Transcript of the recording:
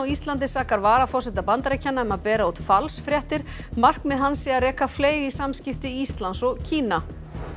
Íslandi sakar varaforseta Bandaríkjanna um að bera út falsfréttir markmið hans sé að reka fleyg í samskipti Íslands og Kína